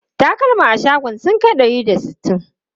Takalma a shagon sun kai ɗari da sittin?